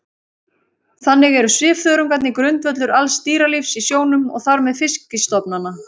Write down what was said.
Þannig eru svifþörungarnir grundvöllur alls dýralífs í sjónum og þar með fiskistofnanna.